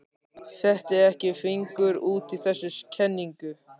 Fetti ekki fingur út í þessa kenningu.